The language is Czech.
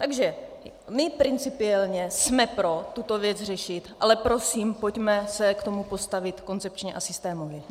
Takže my principiálně jsme pro tuto věc řešit, ale prosím, pojďme se k tomu postavit koncepčně a systémově.